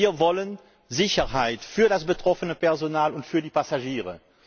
Wir wollen Sicherheit für das betroffene Personal und für die Passagiere.